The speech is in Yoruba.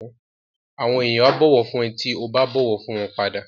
Àwọn èèyàn á bọ̀wọ̀ fún ẹ tí ó bá bọ̀wọ̀ fún wọn padà